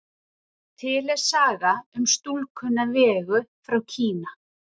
Til er saga um stúlkuna Vegu frá Kína.